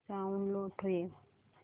sound low ठेव